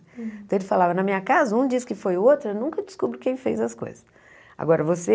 Então ele falava, na minha casa, um diz que foi o outro, eu nunca descubro quem fez as coisas. Agora você